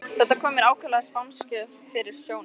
Þetta kom mér ákaflega spánskt fyrir sjónir.